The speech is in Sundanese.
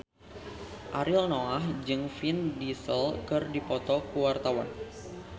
Ariel Noah jeung Vin Diesel keur dipoto ku wartawan